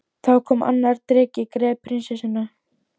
Þá kom annar dreki, greip prinsessuna